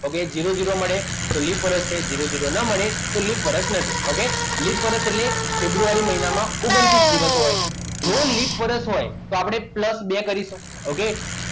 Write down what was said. Okay zero zero મળે તો leap વર્ષ મળે જીરો જીરો ના મળે તો લિપ વર્ષ નથી okay લિપ વર્ષ એટલે ફેબ્રુઆરી મહિનામાં ઓગન્તીસ દિવસ હોય જો લિપ વર્ષ હોય તો આપણે plus બે કરીશું okay